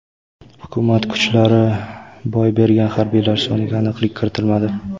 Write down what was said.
Hukumat kuchlari boy bergan harbiylar soniga aniqlik kiritilmadi.